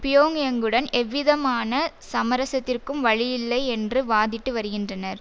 பியோங்யங்குடன் எவ்விதமான சமரசத்திற்கும் வழியில்லை என்று வாதிட்டு வருகின்றனர்